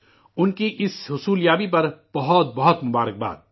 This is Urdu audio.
انکی اس کامیابی پر بہت بہت مبارکباد